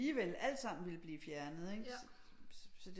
Alligevel alt sammen ville blive fjernet ikke